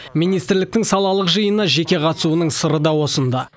министрліктің салалық жиынына жеке қатысуының сыры да осында